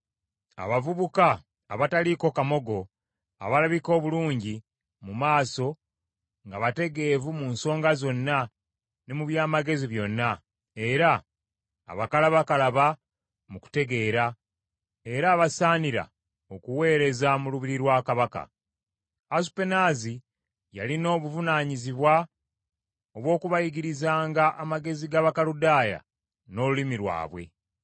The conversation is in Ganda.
abavubuka abataliiko kamogo, abalabika obulungi mu maaso, nga bategeevu mu nsonga zonna ne mu by’amagezi byonna, era abakalabakalaba mu kutegeera, era abasaanira okuweereza mu lubiri lwa kabaka. Asupenaazi yalina obuvunaanyizibwa obw’okubayigirizanga amagezi g’Abakaludaaya, n’olulimi lwabwe.